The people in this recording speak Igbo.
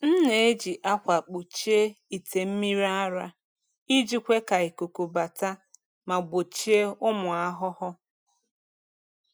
M na-eji akwa kpuchie ite mmiri ara iji kwe ka ikuku bata ma gbochie ụmụ ahụhụ.